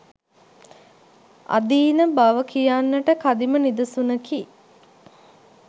අදීන බව කියන්නට කදිම නිදසුනකි.